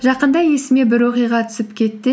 жақында есіме бір оқиға түсіп кетті